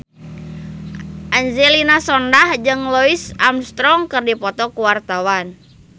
Angelina Sondakh jeung Louis Armstrong keur dipoto ku wartawan